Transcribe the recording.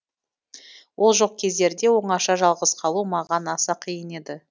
ол жоқ кездерде оңаша жалғыз қалу маған аса қиын еді